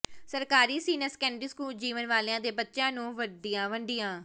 ਸਰਕਾਰੀ senior secondary school Jiwan Wala ਦੇ ਬੱਚਿਆਂ ਨੂੰ ਵਰਦੀਆਂ ਵੰਡੀਆਂ